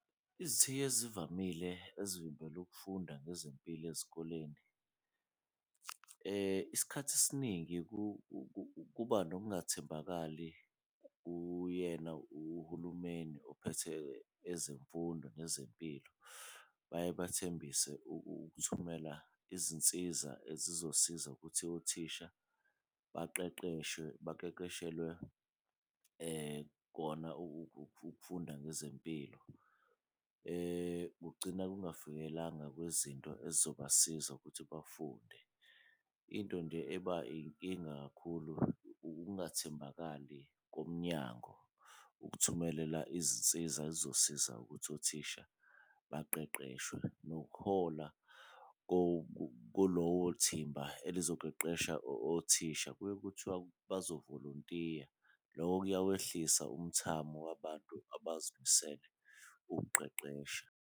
Izithiyo ezivamile ezivimbela ukufunda ngezempilo ezikoleni isikhathi esiningi kuba nokungathembakali kuyena uhulumeni ophethe ezemfundo nezempilo, baye bathembise ukuthumela izinsiza ezizosiza ukuthi othisha baqeqeshwe baqeqeshelwe kona ukufunda ngezempilo. Kugcina kwezinto ezizobasiza ukuthi bafunde into nje eba inkinga kakhulu ukungathembakali komnyanngo ukuthumelela izinsiza ezizosiza ukuthi othisha baqeqeshwe. Nokuhola kulowo thimba elizoqeqesha othisha kuye kuthiwa bazovolontiya loko kuyawehlisa umthamo wabantu abazimisele ukuqeqesha.